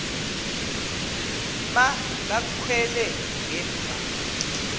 ma kakhwele ngemva